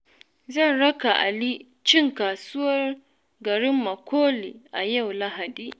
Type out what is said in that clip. Zan raka Ali cin kasuwar garin Makole a yau Lahadi.